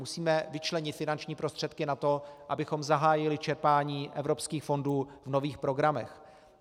Musíme vyčlenit finanční prostředky na to, abychom zahájili čerpání evropských fondů v nových programech.